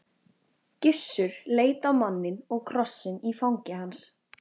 Gissur leit á manninn og krossinn í fangi hans.